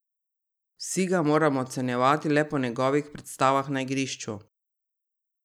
Vsi ga moramo ocenjevati le po njegovih predstavah na igrišču.